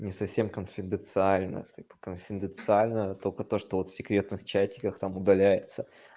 не совсем конфиденциально типо конфиденциально только то что вот секретных чатиках там удаляется